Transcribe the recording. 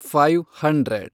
five hundred